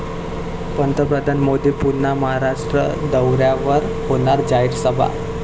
पंतप्रधान मोदी पुन्हा महाराष्ट्र दौऱ्यावर, होणार जाहीर सभा